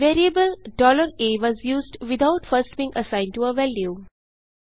variable a was used without first being assigned to a value